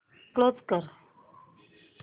close कर